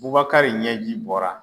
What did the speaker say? Babakari ɲɛji bɔra